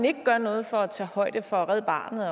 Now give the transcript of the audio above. ikke gør noget for at tage højde for red barnet